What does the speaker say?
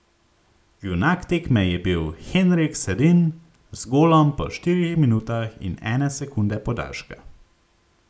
Junak tekme je bil Henrik Sedin z golom po štirih minutah in ene sekunde podaljška.